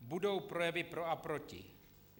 Budou projevy pro a proti.